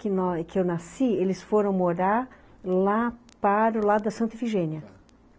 Que nós, que eu nasci, eles foram morar lá para o lado da Santa Efigênia.